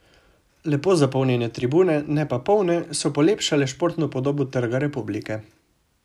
Lepo zapolnjene tribune, ne pa polne, so polepšale športno podobo Trga republike.